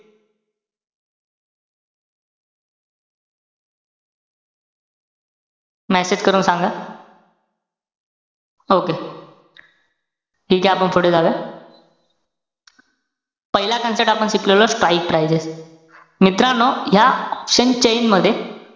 Message करून सांगा. okay. ठीके आपण पुढे जाऊया. पहिला concept आपण शिकलेलो strike prices. मित्रांनो, ह्या option chain मध्ये,